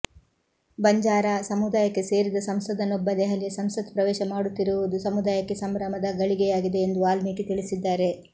ಬಂಜಾರಾ ಸಮುದಾಯಕ್ಕೆ ಸೇರಿದ ಸಂಸದನೊಬ್ಬ ದೆಹಲಿಯ ಸಂಸತ್ ಪ್ರವೇಶ ಪಡೆಯುತ್ತಿರುವುದು ಸಮುದಾಯಕ್ಕೆ ಸಂಭ್ರಮದ ಗಳಿಗೆಯಾಗಿದೆ ಎಂದು ವಾಲ್ಮೀಕಿ ತಿಳಿಸಿದ್ದಾರೆ